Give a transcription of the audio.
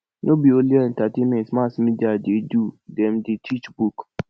no be only entertainment mass media dey do dem dey teach book